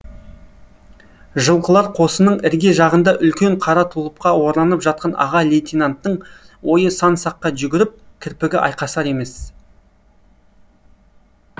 жылқышылар қосының ірге жағында үлкен қара тұлыпқа оранып жатқан аға лейтенанттың ойы сан саққа жүгіріп кірпігі айқасар емес